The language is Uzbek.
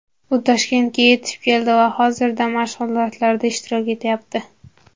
U Toshkentga yetib keldi va hozirda mashg‘ulotlarda ishtirok etyapti.